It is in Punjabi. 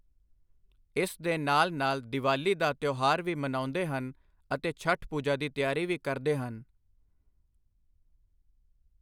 ਇਸ ਦੇ ਨਾਲ ਨਾਲ ਦੀਵਾਲੀ ਦਾ ਤਿਉਹਾਰ ਵੀ ਮਨਾਉਂਦੇ ਹਨ ਅਤੇ ਛਠ ਪੂਜਾ ਦੀ ਤਿਆਰੀ ਵੀ ਕਰਦੇ ਹਨ।